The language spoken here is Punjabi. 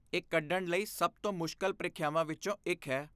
ਇਹ ਕੱਢਣ ਲਈ ਸਭ ਤੋਂ ਮੁਸ਼ਕਲ ਪ੍ਰੀਖਿਆਵਾਂ ਵਿੱਚੋਂ ਇੱਕ ਹੈ।